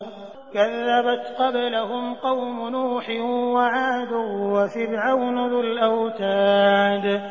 كَذَّبَتْ قَبْلَهُمْ قَوْمُ نُوحٍ وَعَادٌ وَفِرْعَوْنُ ذُو الْأَوْتَادِ